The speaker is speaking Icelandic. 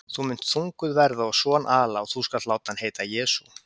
Þú munt þunguð verða og son ala, og þú skalt láta hann heita JESÚ.